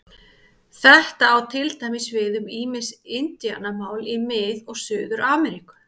Þetta á til dæmis við um ýmis indíánamál í Mið- og Suður-Ameríku.